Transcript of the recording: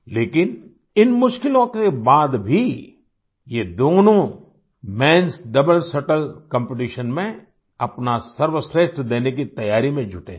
लेकिन इन मुश्किलों के बाद भी ये दोनों menएस डबल शटल कॉम्पिटिशन में अपना सर्वश्रेष्ठ देने की तैयारी में जुटे हैं